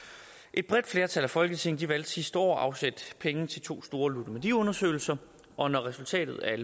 et bredt flertal af folketinget valgte sidste år at afsætte penge til to store ludomaniundersøgelser og når resultatet af